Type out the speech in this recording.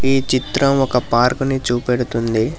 ఈ చిత్రం ఒక పార్క్ ని చూపెడుతుంది.